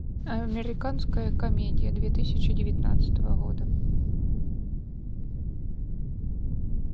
американская комедия две тысячи девятнадцатого года